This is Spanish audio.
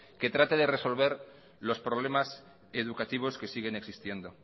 que trate de resolver los problemas educativos que siguen existiendo